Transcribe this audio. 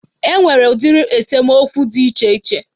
E nwere udiri esemokwu dị iche iche